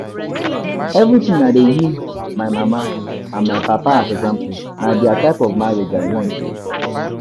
Everytime I dey use my mama and and papa as example, na dia type of marriage I want oo